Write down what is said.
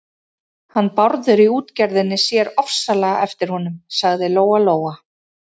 Hann Bárður í útgerðinni sér ofsalega eftir honum, sagði Lóa-Lóa.